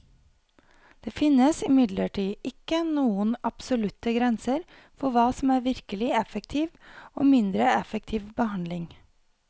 Det finnes imidlertid ikke noen absolutte grenser for hva som er virkelig effektiv og mindre effektiv behandling.